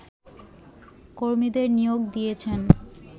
কর্মীদের নিয়োগ দিয়েছেন